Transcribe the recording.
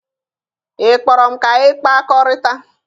Ị kpọrọ m ka anyị kpakọrịta?